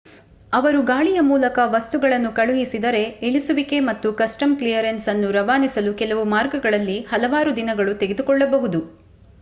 ಅವರು ಗಾಳಿಯ ಮೂಲಕ ವಸ್ತುಗಳನ್ನು ಕಳುಹಿಸಿದರೆ ಇಳಿಸುವಿಕೆ ಮತ್ತು ಕಸ್ಟಮ್ಸ್ ಕ್ಲಿಯರೆನ್ಸ್ ಅನ್ನು ರವಾನಿಸಲು ಕೆಲವು ಮಾರ್ಗಗಳಲ್ಲಿ ಹಲವಾರು ದಿನಗಳು ತೆಗೆದುಕೊಳ್ಳಬಹುದು